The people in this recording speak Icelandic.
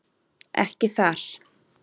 Ekki þar.